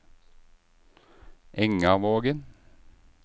Engavågen